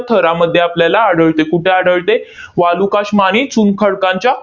थरामध्ये आपल्याला आढळते. कुठे आढळते? वालुकाष्म आणि चुनखडकांच्या